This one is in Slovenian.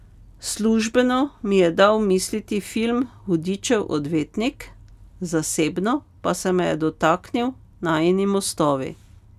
Službeno mi je dal misliti film Hudičev odvetnik, zasebno pa se me je dotaknil Najini mostovi.